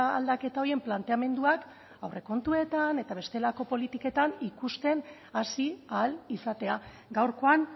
aldaketa horien planteamenduak aurrekontuetan eta bestelako politiketan ikusten hasi ahal izatea gaurkoan